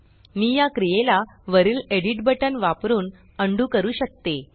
मी या क्रियेला वरील एडिट बटन वापरुन उंडो अंडू करू शकते